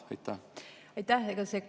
Aitäh!